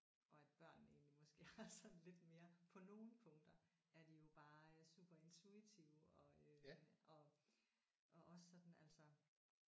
Og at børnene egentlig måske har sådan lidt mere på nogle punkter er de jo bare super intuitive og øh og og også sådan altså